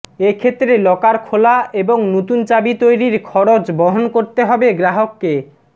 এ ক্ষেত্রে লকার খোলা এবং নতুন চাবি তৈরির খরচ বহন করতে হবে গ্রাহককে